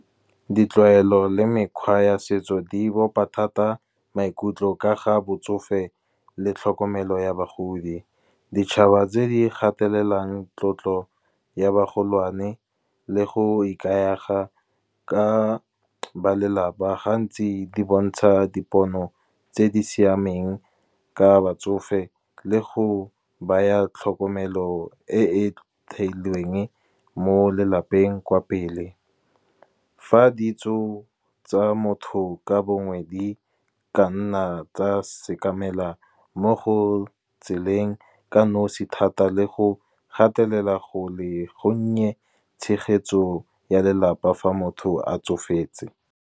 Ditlwaelo le mekgwa ya setso di bopa thata maikutlo ka ga botsofe le tlhokomelo ya bagodi. Ditšhaba tse di gatelelang tlotlo ya bagolwane, le go ikaega ka balelapa, gantsi di bontsha dipono tse di siameng ka batsofe le go baya tlhokomelo e e theilweng mo lelapeng kwa pele. Fa ditso tsa motho ka bongwe di ka nna tsa sekamela mo go tseleng ka nosi, thata le go gatelela go le gonnye, tshegetso ya lelapa fa motho a tsofetse.